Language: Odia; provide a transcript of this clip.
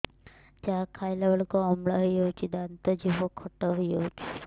ଯାହା ଖାଇଲା ବେଳକୁ ଅମ୍ଳ ହେଇଯାଉଛି ଦାନ୍ତ ଜିଭ ଖଟା ହେଇଯାଉଛି